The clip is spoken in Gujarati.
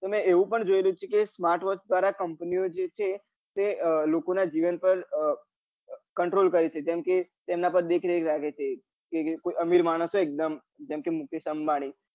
તો મેં એવું પણ જોયુલું છે કે smart watch દ્વારા company જે છે એં લોકો ના જીવન પર અ control કરે છે જેમ કે તેમના પાર દેખરેખ રાખે છે કોઈ અમિર માણસ હોય એક દમ જેમ કે મુકેશ અંબાણી